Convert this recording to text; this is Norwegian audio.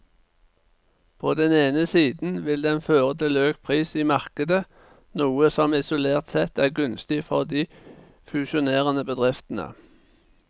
På den ene siden vil den føre til økt pris i markedet, noe som isolert sett er gunstig for de fusjonerende bedriftene.